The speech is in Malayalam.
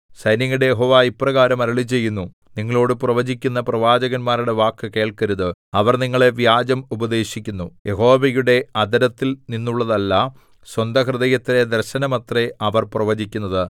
സൈന്യങ്ങളുടെ യഹോവ ഇപ്രകാരം അരുളിച്ചെയ്യുന്നു നിങ്ങളോടു പ്രവചിക്കുന്ന പ്രവാചകന്മാരുടെ വാക്കു കേൾക്കരുത് അവർ നിങ്ങളെ വ്യാജം ഉപദേശിക്കുന്നു യഹോവയുടെ അധരത്തിൽ നിന്നുള്ളതല്ല സ്വന്തഹൃദയത്തിലെ ദർശനമത്രേ അവർ പ്രവചിക്കുന്നത്